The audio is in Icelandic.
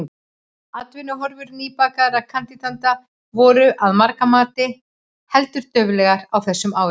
Atvinnuhorfur nýbakaðra kandidata voru, að margra mati, heldur dauflegar á þessum árum.